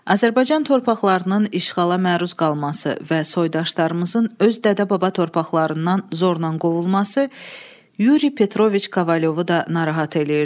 Azərbaycan torpaqlarının işğala məruz qalması və soydaşlarımızın öz dədə-baba torpaqlarından zorla qovulması Yuri Petroviç Kovalyovu da narahat eləyirdi.